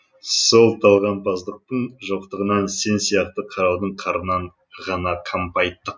сол талғампаздықтың жоқтығынан сен сияқты қараудың қарынын ғана қампайттық